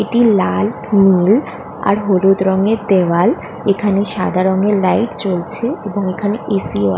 এটি লাল নীল আর হলুদ রঙের দেয়াল এখানে সাদা রঙের লাইট জ্বলছে এবং এখানে এসি ও আ--